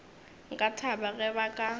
nka thaba ge ba ka